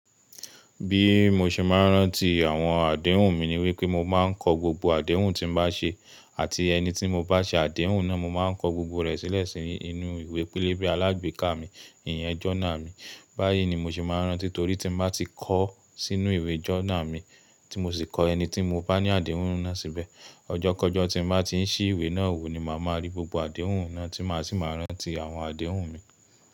Bí mo ṣe máa ń rántí àwọn àdéhùn mi ni wípé mo máa ń kọ gbogbo àdéhùn tí mo bá ṣe àti ẹni tí mo bá ṣe àdéhùn náà, mo máa ń kọ gbogbo rẹ̀ sílẹ̀ sínú ìwé pélébé alágbèéká mi, ìyẹn journal mi. Báyìí ni mo ṣe máa ń rántí torí tí mo bá ti kọ ọ́ sínú ìwé journal mi tí mo sì kọ ẹni tí mo bá ní àdéhùn náà síbẹ̀. Ọjọ́kọjọ́ tí mo bá ti ń ṣìí ìwé náà wò ni màá máa rí gbogbo àdéhùn náà tí màá sì máa rántí àwọn àdéhùn mi.